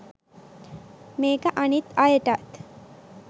මේක අනිත් අයටත්